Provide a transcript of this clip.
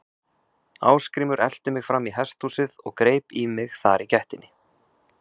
Ásgrímur elti mig fram í hesthúsið og greip í mig þar í gættinni.